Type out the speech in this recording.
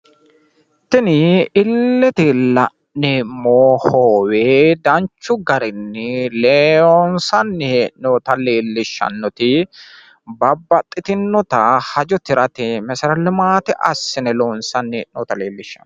tini illete la'neemmo hoowe danchu garinni loonsanni hee'noonita leelishshannoti babaxitinnota hajo tirate meserete limaate assine loonsanni hee'noonnita leellishshanno.